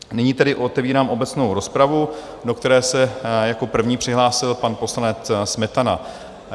Nyní tedy otevírám obecnou rozpravu, do které se jako první přihlásil pan poslanec Smetana.